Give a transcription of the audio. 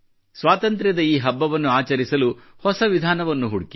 ಸ್ವಾತಂತ್ರ್ಯದ ಈ ಹಬ್ಬವನ್ನು ಆಚರಿಸಲು ಹೊಸ ವಿಧಾನವನ್ನು ಹುಡುಕಿ